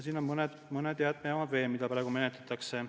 Ja mõned jäätmejaamad on veel, mille juhtumeid praegu menetletakse.